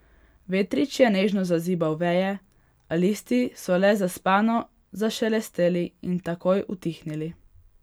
Vetrič je nežno zazibal veje, a listi so le zaspano zašelesteli in takoj utihnili.